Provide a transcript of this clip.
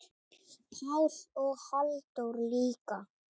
Pál og Halldór líka.